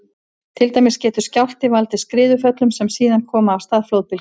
Til dæmis getur skjálfti valdið skriðuföllum sem síðan koma af stað flóðbylgju.